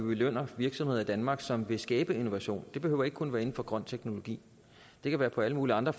belønner virksomheder i danmark som vil skabe innovation det behøver ikke kun være inden for grøn teknologi det kan være på alle mulige andre